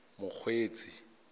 mokgweetsi